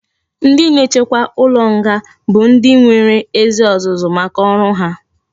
Ndi na echekwa ulo nga bu ndi enwere ezi ozuzu maka oru ha